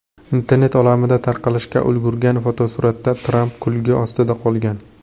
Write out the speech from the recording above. Internet olamida tarqalishga ulgurgan fotosuratda Tramp kulgi ostida qolgan.